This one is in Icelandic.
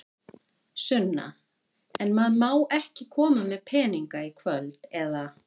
Sunna: En maður má ekki koma með peninga í kvöld, eða?